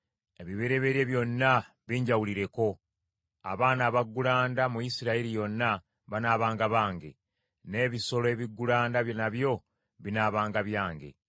“Ebibereberye byonna binjawulireko. Abaana abaggulanda mu Isirayiri yonna banaabanga bange; n’ebisolo ebiggulanda nabyo binaabanga byange.”